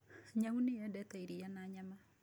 Nyau nĩ yendete iria na nyama.